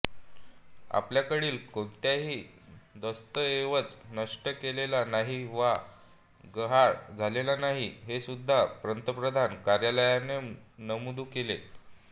आपल्याकडील कोणताही दस्तऐवज नष्ट केलेला नाही वा गहाळ झालेला नाही हेसुद्धा पंतप्रधान कार्यालयाने नमूद केले